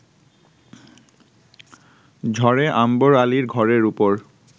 ঝড়ে আম্বর আলীর ঘরের উপর